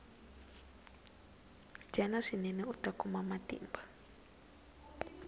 dyana swinene uta kuma matimba